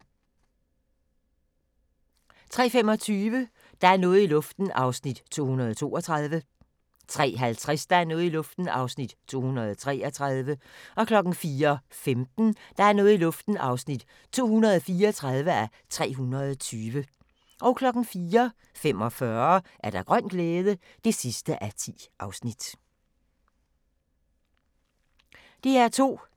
DR2